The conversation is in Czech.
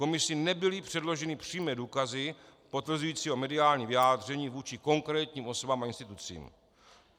Komisi nebyly předloženy přímé důkazy potvrzující jeho mediální vyjádření vůči konkrétním osobám a institucím.